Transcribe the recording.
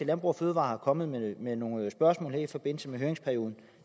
landbrug fødevarer er kommet med med nogle spørgsmål i forbindelse med høringsperioden